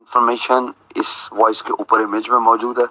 Information इस voice के ऊपर इमेज मौजूद है ।